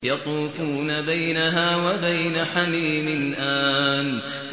يَطُوفُونَ بَيْنَهَا وَبَيْنَ حَمِيمٍ آنٍ